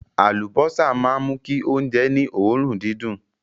Àlùbọ́sà máa ń mú kí oúnjẹ ní òórùn dídùn.